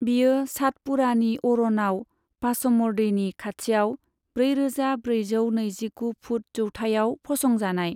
बियो सातपुड़ानि अरनाव पाचमढ़ीनि खाथियाव ब्रैरोजा ब्रैजौ नैजिगु फुट जौथाइयाव फसंजानाय।